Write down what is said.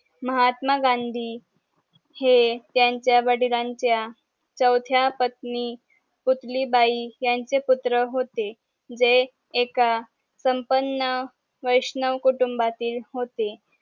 महात्मा गांधी हे त्यांच्या वडिलांच्या चवथ्या पत्नी पुतली बाई ह्यांचे पुत्र होते जे एका संपन्न वैष्णव कुटुंभातील होते